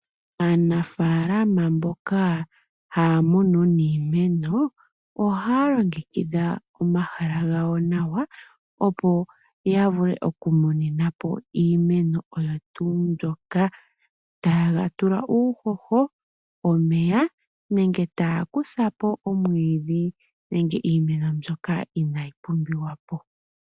Aanafalama mboka haya munu niimeno ohaya longekidha omahala gawo nawa, opo ya vule okumuninapo iimeno oyo tuu mbyoka. Taye ga tula uuhoho, omeya nenge taya kuthapo omwiidhi nenge iimeno mbyoka inayi pumbiwa po.